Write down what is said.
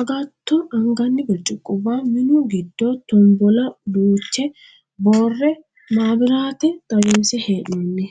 agatto anganni birciqubba minu giddo tombola duuche boorre maabiraate xawinse hee'noonni.